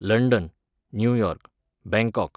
London, New York, Bangkok,